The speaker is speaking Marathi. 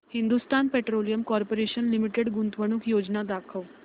हिंदुस्थान पेट्रोलियम कॉर्पोरेशन लिमिटेड गुंतवणूक योजना दाखव